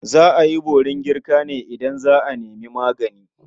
Za a yi borin girka ne idan za a nemi magani.